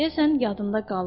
Deyəsən, yadında qalıb.